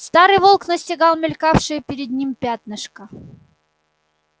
старый волк настигал мелькавшее перед ним пятнышко